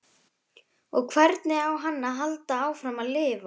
Og hvernig á hann að halda áfram að lifa?